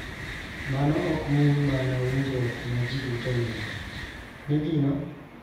Mano ok mulo mana winjruok ma ji duto nigo .